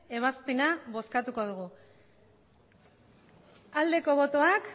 ebazpena bozkatuko dugu aldeko botoak